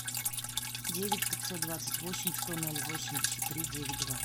девять пятьсот двадцать восемь сто ноль восемьдесят три девять два